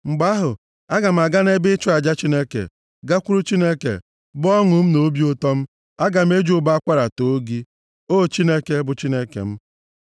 Mgbe ahụ, aga m aga nʼebe ịchụ aja Chineke, gakwuru Chineke, bụ ọṅụ m na obi ụtọ m. Aga m eji ụbọ akwara too gị, O Chineke, bụ Chineke m.